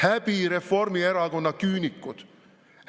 Häbi, Reformierakonna küünikud!